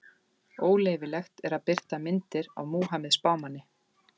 Óleyfilegt er að birta myndir af Múhameð spámanni.